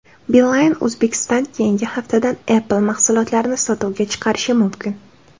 Beeline Uzbekistan keyingi haftadan Apple mahsulotlarini sotuvga chiqarishi mumkin.